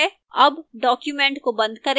अब document को बंद करें